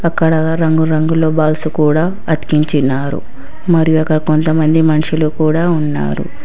అక్కడ రంగు రంగుల బాల్స్ కూడా అతికించినారు మరియు అక్కడ కొంతమంది మనుషులు కూడా ఉన్నారు.